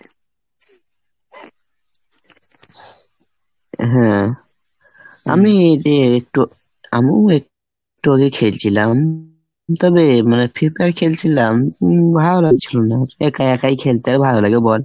হ্যাঁ. আমি যে একটু আমিও একটু আগে খেলছিলাম, তবে মানে free fire খেলছিলাম ভালো লাগছিলো না। একা একাই খেলতে ভালো লাগে বল?